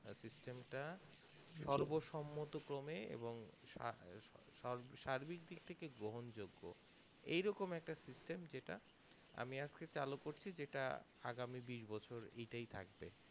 system টা সর্বসন্মত্ত ক্রমে এবং সার্বিক দিক থেকে গ্রহণ যোগ্য এই রকম একটা system যেটা আমি আজকে চালু করছি যেটা আগামী বিশ বছর এটাই থাকবে